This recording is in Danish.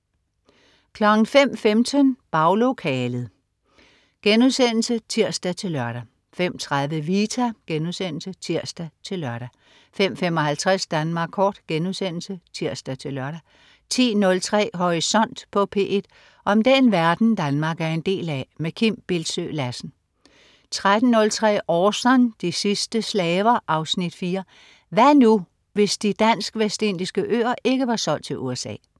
05.15 Baglokalet* (tirs-lør) 05.30 Vita* (tirs-lør) 05.55 Danmark Kort* (tirs-lør) 10.03 Horisont på P1. Om den verden, Danmark er en del af. Kim Bildsøe Lassen 13.03 Orson. De sidste slaver. Afsnit 4: Hvad nu, hvis De Dansk Vestindiske øer ikke var solgt til USA?